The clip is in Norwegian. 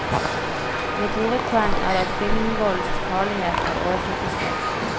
Mitt hovedpoeng er at filmvolds farlighet er overfokusert.